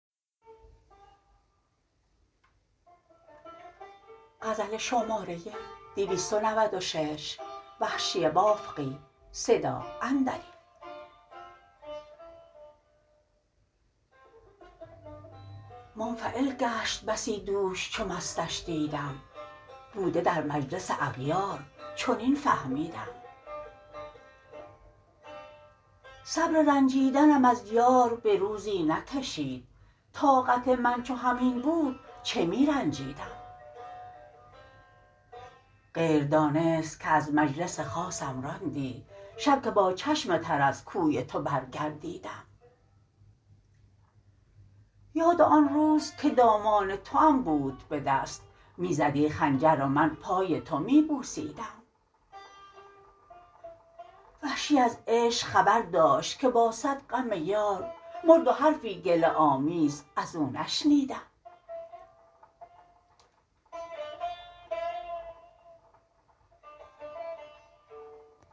منفعل گشت بسی دوش چو مستش دیدم بوده در مجلس اغیار چنین فهمیدم صبر رنجیدنم از یار به روزی نکشید طاقت من چو همین بود چه می رنجیدم غیردانست که از مجلس خاصم راندی شب که با چشم تر از کوی تو بر گردیدم یاد آن روز که دامان توام بود به دست می زدی خنجر و من پای تو می بوسیدم وحشی از عشق خبر داشت که با سد غم یار مرد و حرفی گله آمیز ازو نشنیدم